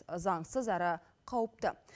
заңсыз әрі қауіпті